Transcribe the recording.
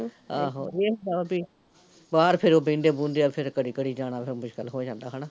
ਆਹੋ, ਏਹ ਹੁੰਦਾ ਵਾਂ ਵੀ ਬਾਹਰ ਫਿਰੋ ਬਹਿੰਦੇ ਬਹਿੰਦਿਆ ਫਿਰ ਘੜੀ ਘੜੀ ਜਾਨਾ ਫਿਰ ਮੁਸ਼ਕਿਲ ਹੋ ਜਾਂਦਾ ਹੈਨਾ